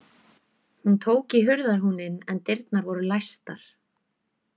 Hún tók í hurðarhúninn en dyrnar voru læstar.